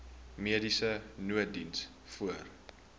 mediese nooddiens voor